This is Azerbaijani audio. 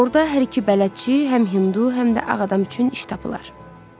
Orda hər iki bələdçi, həm Hindu, həm də ağ adam üçün iş tapılar.